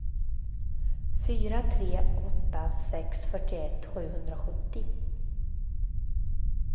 fyra tre åtta sex fyrtioett sjuhundrasjuttio